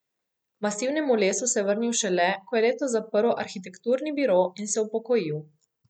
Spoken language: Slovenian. K masivnemu lesu se je vrnil šele, ko je letos zaprl arhitekturni biro in se upokojil.